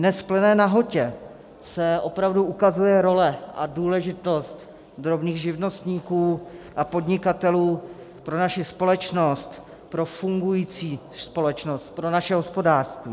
Dnes v plné nahotě se opravdu ukazuje role a důležitost drobných živnostníků a podnikatelů pro naši společnost, pro fungující společnost, pro naše hospodářství.